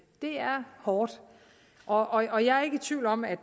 det er hårdt og jeg er ikke i tvivl om at